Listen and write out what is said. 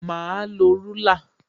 Mà á lo rúlà